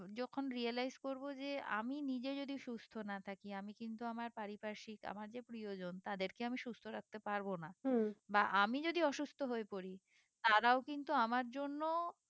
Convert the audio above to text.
যখন realize করবো যে আমি নিজে যদি সুস্থ না থাকি আমি কিন্তু আমার পারিপারসিক আমার যে প্রিয় জন তাদেরকে আমি সুস্থ রাখতে পারবো না বা আমি যদি অসুস্থ হয়ে পড়ি তারাও কিন্তু আমার জন্য